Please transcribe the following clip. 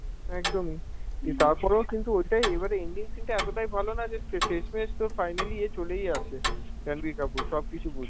একদমই দিয়ে তারপরও কিন্তু ওইটাই, এবারে ending scene টাই ভালো না যে ফ্য~ শেষমেষ তো finally এ চলেই আসে, রাণবীর কাপুর সবকিছু বুঝে